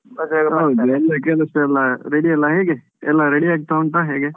ಹೌದು ಎಲ್ಲ ಕೆಲಸ ಎಲ್ಲಾ ready ಯೆಲ್ಲ ಹೇಗೆ ಎಲ್ಲಾ ready ಆಗ್ತಾ ಉಂಟಾ ಹೇಗೆ?